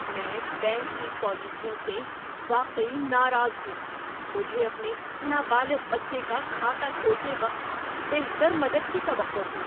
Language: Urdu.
‏میں بینک کی پالیسیوں سے واقعی ناراض ہوں۔ مجھے اپنے نابالغ بچے کا کھاتہ کھولتے وقت بہتر مدد کی توقع تھی۔